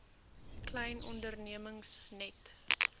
klein ondernemings net